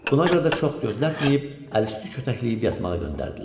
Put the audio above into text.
Buna görə də çox gözlətməyib, əliüstü kötəkləyib yatmağa göndərdilər.